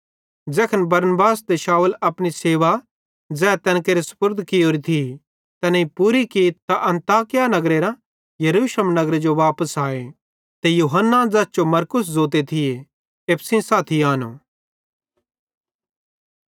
ज़ैखन बरनबास ते शाऊल अपनी सेवा ज़ै तैन केरे सुपुर्द कियोरी थी तैनेईं पूरी की त अन्ताकिया नगरेरां यरूशलेम नगरे जो वापस आए ते यूहन्ना ज़ैस जो मरकुस ज़ोते थिये एप्पू सेइं साथी आनो